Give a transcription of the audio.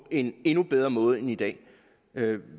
en endnu bedre måde end i dag